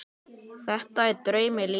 Þetta er draumi líkast.